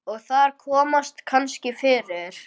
Og þar komast kannski fyrir